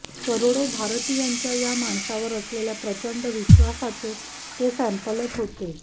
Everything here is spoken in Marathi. करोडो भारतीयांच्या या माणसावर असलेल्या प्रचंड विश्वासाचे ते सँपलच होते